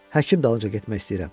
Həkim dalınca getmək istəyirəm.